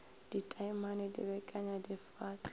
ditaemane di bekenya di fahla